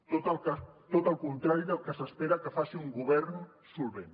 tot el contrari del que s’espera que faci un govern solvent